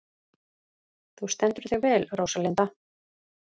Þú stendur þig vel, Róslinda!